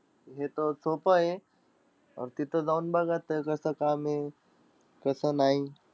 हेतं सोपंय. तिथं जाऊन बघा त्याचं कसं काम आहे, कसं नाई.